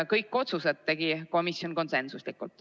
Kõik otsused tegi komisjon konsensusega.